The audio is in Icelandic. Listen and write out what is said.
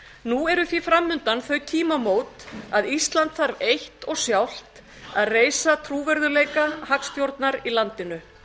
nú eru því framundan þau tímamót að ísland þarf eitt og sjálft að reisa trúverðugleika hagstjórnar í landinu